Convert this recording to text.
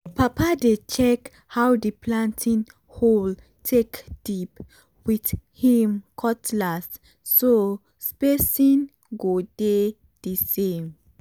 papa dey check how the planting hole take dip with him cutlass so spacing go dey the same.